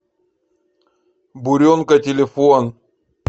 буренка телефон